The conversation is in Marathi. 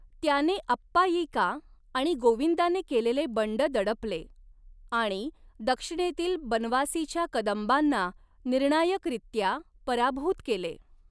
त्याने अप्पायिका आणि गोविंदाने केलेले बंड दडपले आणि दक्षिणेतील बनवासीच्या कदंबांना निर्णायकरित्या पराभूत केले.